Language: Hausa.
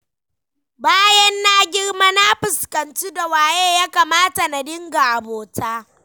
Bayan na girma na fuskanci da waye ya kamata na dinga abota.